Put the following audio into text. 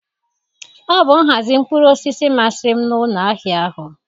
Ọ bụ nhazi mkpụrụ osisi masịrị m n'ụlọ ahịa ahụ.